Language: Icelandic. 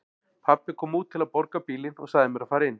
Pabbi kom út til að borga bílinn og sagði mér að fara inn.